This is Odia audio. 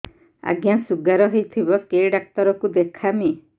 ଆଜ୍ଞା ଶୁଗାର ହେଇଥିବ କେ ଡାକ୍ତର କୁ ଦେଖାମି